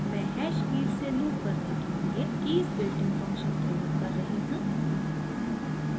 मैं hash keys से loop करने के लिए कीज़ बिल्टइन फंक्शन प्रयोग कर रही हूँ